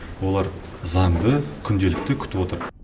олар заңды күнделікті күтіп отыр